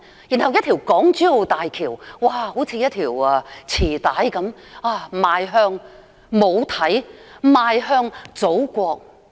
然後是港珠澳大橋，就好像是一條臍帶般，邁向母體，邁向祖國。